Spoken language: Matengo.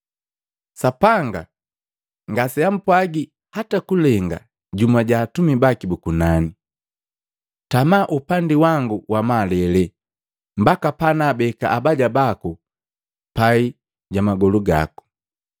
Sapanga ngaseampwagi hata kulenga jumu ja atumi baki bu kunani: “Tama upandi wangu wamalele, mbaka panaabeka abaja baku pai ja magolu gako.”